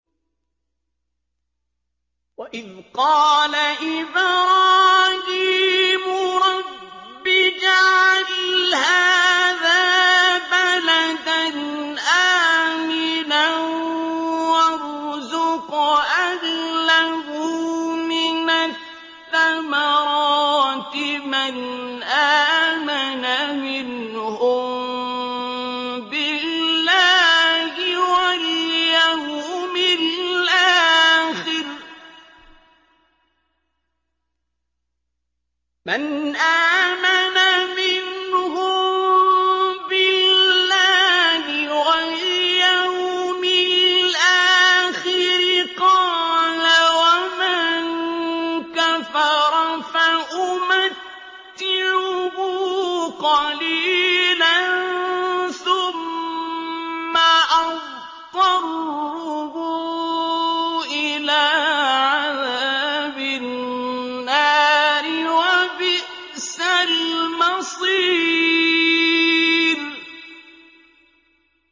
وَإِذْ قَالَ إِبْرَاهِيمُ رَبِّ اجْعَلْ هَٰذَا بَلَدًا آمِنًا وَارْزُقْ أَهْلَهُ مِنَ الثَّمَرَاتِ مَنْ آمَنَ مِنْهُم بِاللَّهِ وَالْيَوْمِ الْآخِرِ ۖ قَالَ وَمَن كَفَرَ فَأُمَتِّعُهُ قَلِيلًا ثُمَّ أَضْطَرُّهُ إِلَىٰ عَذَابِ النَّارِ ۖ وَبِئْسَ الْمَصِيرُ